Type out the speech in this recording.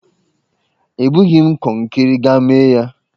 Ebughị m kọnkiri, gaa mee ya,!